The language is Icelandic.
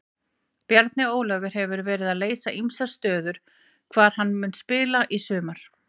Bjarni Ólafur hefur verið að leysa ýmsar stöður hvar mun hann spila í sumar?